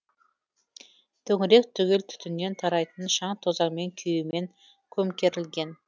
төңірек түгел түтіннен тарайтын шаң тозаңмен күйемен көмкерілген